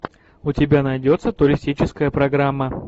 у тебя найдется туристическая программа